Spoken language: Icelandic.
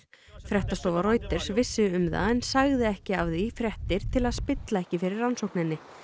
fréttastofa Reuters vissi um það en sagði ekki af því fréttir til að spilla ekki fyrir rannsókinni